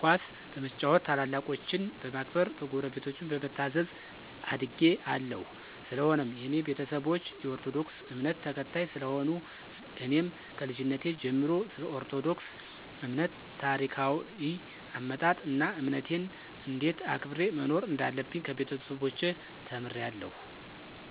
ኳስ በመጫወት፣ ታላላቆቸን በማክበር፣ ጉረቤቶቸን በመታዘዝ አድጌ አለሁ። ሰለሆነም የኔ ቤተሰቦች የኦርቶዶክስ እምነትን ተከታይ ስለሆኑ እኔም ከልጅነቴ ጀመሮ ስለኦርቶዶክስ እምነት ታሪካዎይ አመጣጥ አና እምነቴን እንዴት አክብሬ መኖር እንዳለብኝ ከቤተሰቦቸ ተምሬአለሁ።